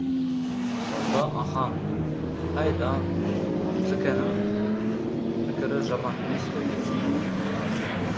сонда ахаң қайдам цк ның пікірі жаман емес қой депті